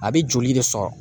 A bɛ joli de sɔrɔ?